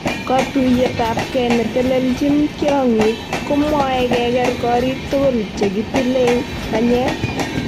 Kotuiyet ap.kei netelelchin tyong'ik komwoe keger korik tugul chegitilei. panyek